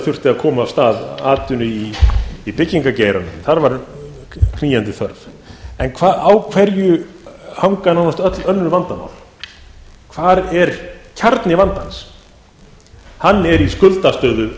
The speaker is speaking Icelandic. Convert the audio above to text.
þurfti að koma af stað atvinnu í byggingargeiranum þar var knýjandi þörf en á hverju hanga nánast öll önnur vandamál hvar er kjarni vandans hann er í skuldastöðu